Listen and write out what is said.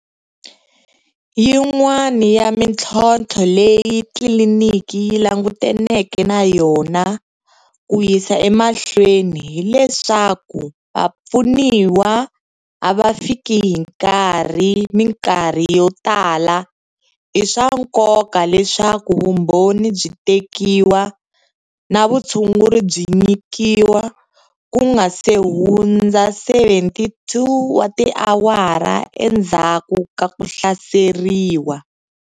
Yin'wana ya mitlhotlho leyi tliliniki yi langutaneke na yona ku yisa emahlweni hi leswaku vapfuniwa a va fiki hi nkarhi mikarhi yo tala i swa nkoka leswaku vumbhoni byi tekiwa na vutshunguri byi nyikiwa ku nga si hundza 72 wa tiawara endzhaku ka ku hlaseriwa.